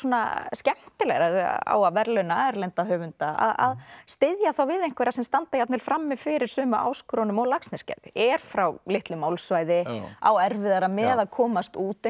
skemmtilegra ef á að verðlauna erlenda höfunda að styðja þá við einhverja sem standa jafnvel frammi fyrir sömu áskorunum og Laxness gerði er frá litlu málsvæði á erfiðara með að komast út